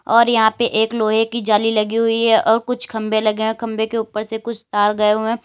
और यहां पे एक लोहे की जाली लगी हुई है और कुछ खंभे लगे हैं खंभे के ऊपर से कुछ तार गए हुए हैं।